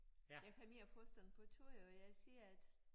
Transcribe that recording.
Jeg har mere forstand på tøj og jeg siger at